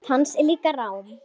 Rödd hans er líka rám.